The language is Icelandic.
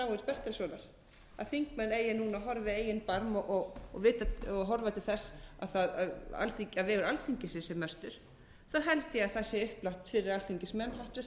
bertelssonar að þingmenn eigi núna að horfa í eigin barm og horfa til þess að vegur alþingis sé sem mestur held ég að það sé upplagt fyrir alþingismenn háttvirta